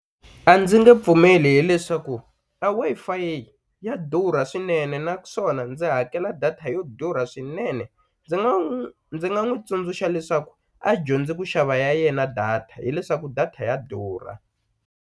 A ndzi nge pfumeli hileswaku a Wi-Fi ya durha swinene naswona ndzi hakela data yo durha swinene ndzi nga n'wu ndzi nga n'wu tsundzuxa leswaku a dyondzi ku xava ya yena data hileswaku data ya durha.